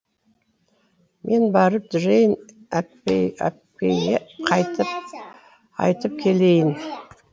мен барып джейн әпкейге айтып келейін